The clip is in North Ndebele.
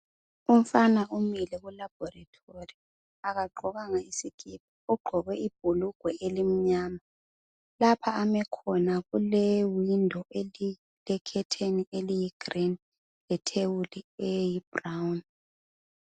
Umfana umile kulaborithori akagqokanga isikipa, ugqoke ibhulugwe elimnyama lapha ame khona kule windo elilekhetheni eliyi green le thebuli eyi-brown.